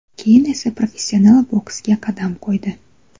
Keyin esa professional boksga qadam qo‘ydi.